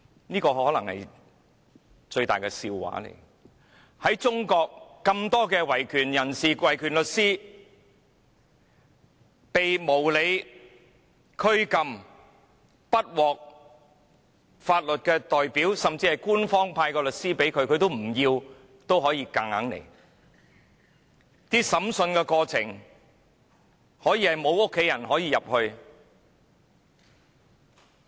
"這可能是最大的笑話，在中國有那麼多維權人士和律師，被無理拘禁，無法聘得法律代表，甚至強行由官方派出的律師作為其代表，而在審訊過程中，家人完全無法參與。